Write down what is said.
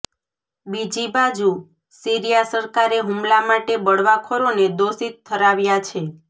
બીજીબાજુ Syria સરકારે હુમલા માટે બળવાખોરોને દોષિત ઠરાવ્યા છે